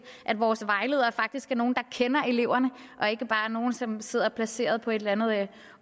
at vores vejledere faktisk er nogle der kender eleverne og ikke bare er nogle som sidder placeret på et eller andet